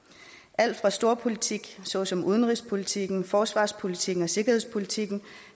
alt fra storpolitik såsom udenrigspolitikken forsvarspolitikken og sikkerhedspolitikken